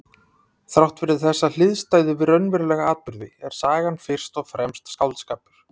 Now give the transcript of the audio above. Þrátt fyrir þessa hliðstæðu við raunverulega atburði er sagan fyrst og fremst skáldskapur.